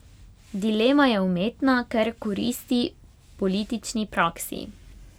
Dilema je umetna, ker koristi politični praksi.